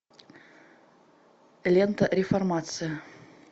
лента реформация